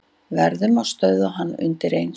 Verðum að stöðva hann undireins.